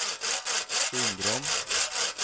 Undrom